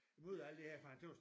Imod alt det her for han tøs